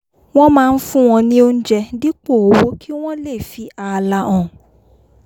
wọ́n máa ń fún wọn ní oúnjẹ dípò owó kí wọ́n lè fi ààlà hàn